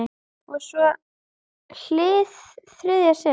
Og svo- hið þriðja sinn.